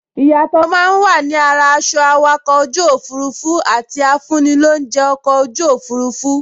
Ìyàtọ̀ máa n wà ni ara aṣọ awakọ̀ ojú òfurufú àti afúnilóunjẹ́ ọkọ̀ ojú òfurufú